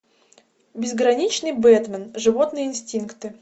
безграничный бэтмен животные инстинкты